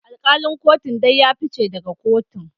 Alkalin kotun dai ya fice daga kotun